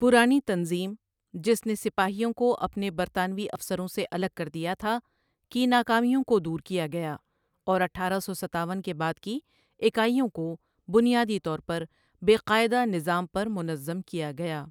پرانی تنظیم، جس نے سپاہیوں کو اپنے برطانوی افسروں سے الگ کر دیا تھا، کی ناکامیوں کو دور کیا گیا، اور اٹھارہ سوستاون کے بعد کی اکائیوں کو بنیادی طور پر 'بے قاعدہ' نظام پر منظم کیا گیا۔